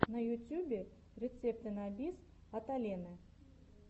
на ютюбе рецепты на бис от алены